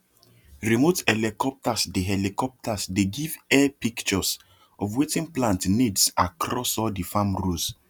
remote helicopters dey helicopters dey give air pictures of wetin plant needs across all the farm rows